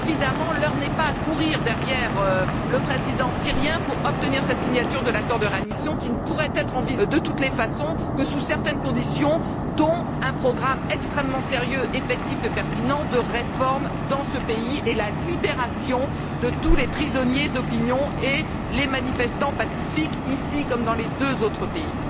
Évidemment, l'heure n'est pas à courir derrière le président syrien pour obtenir sa signature de l'accord de réadmission, qui ne pourrait de toute façon être envisagée que sous certaines conditions, dont un programme extrêmement sérieux, effectif et pertinent, de réformes dans ce pays, et la libération de tous les prisonniers d'opinion et les manifestants pacifiques, ici comme dans les deux autres pays.